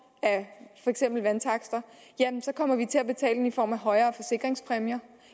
af vandtakster så kommer vi til at betale dem i form af højere forsikringspræmier